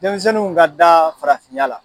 Denmisɛnninw ka da farafinya la.